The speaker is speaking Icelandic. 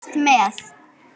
Hann hafði fylgst með